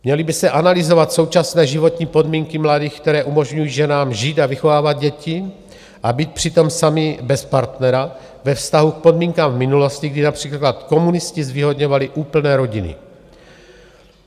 Měly by se analyzovat současné životní podmínky mladých, které umožňují ženám žít a vychovávat děti a být přitom samy bez partnera ve vztahu k podmínkám v minulosti, kdy například komunisti zvýhodňovali úplné rodiny.